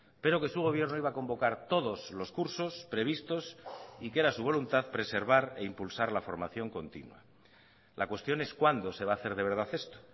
pero que su gobierno iba a convocar todos los cursos previstos y que era su voluntad preservar e impulsar la formación continua la cuestión es cuándo se va a hacer de verdad esto